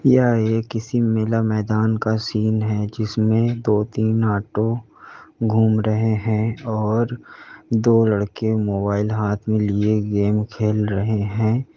यह किसी मेला मैदान का सीन है जिसमें दो तीन ऑटो घूम रहे हैं और दो लड़के मोबाइल हाथ में लिए गेम खेल रहे हैं।